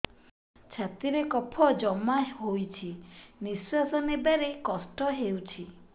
ଛାତିରେ କଫ ଜମା ହୋଇଛି ନିଶ୍ୱାସ ନେବାରେ କଷ୍ଟ ହେଉଛି